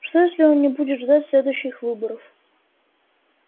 что если он не будет ждать следующих выборов